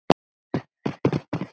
Hann er fínn.